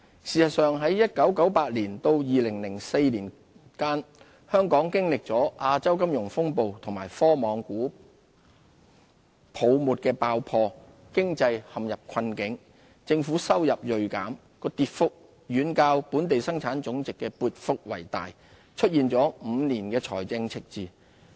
事實上，在1998年至2004年間，本港經歷了亞洲金融風暴和科網股泡沫爆破，經濟陷入困境，政府收入銳減，其跌幅遠較本地生產總值的跌幅大，出現5年財政赤字。